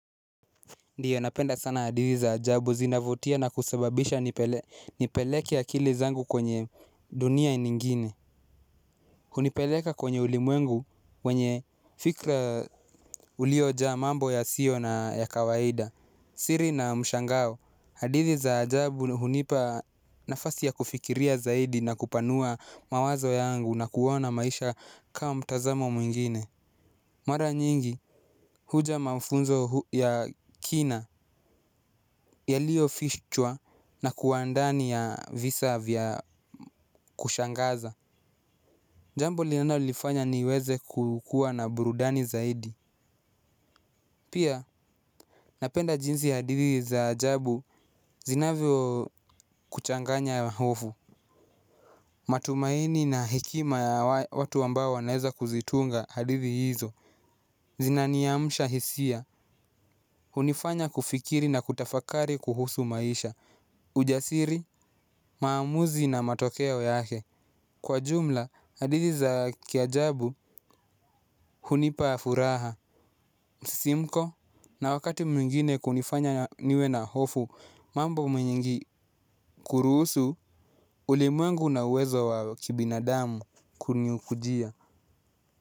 Ndiyo napenda sana hadithi za ajabu zinavutia na kusababisha nipeleke akilizangu kwenye dunia nyingine. Hunipeleka kwenye ulimwengu wenye fikra uliojaa mambo ya siyo na ya kawaida. Siri na mshangao, hadithi za ajabu hunipa nafasi ya kufikiria zaidi na kupanua mawazo yangu na kuona maisha kama mtazamo mwingine. Mara nyingi huja mafunzo ya kina yaliyo fichwa na kuwandani ya visa vya kushangaza. Jambo linalo nifanya niweze kukuwa na burudani zaidi. Pia napenda jinsi hadithi za ajabu zinavyo kuchanganya ya hofu. Matumaini na hekima ya watu ambao wanaweza kuzitunga hadithi hizo. Zinaniamsha hisia hunifanya kufikiri na kutafakari kuhusu maisha. Ujasiri, maamuzi na matokeo yake. Kwa jumla, hadithi za kiajabu hunipa furaha msisimko na wakati mwingine kunifanya niwe na hofu. Mambo mwenyingi kuruhusu ulimwengu na uwezo wa kibinadamu kunikujia.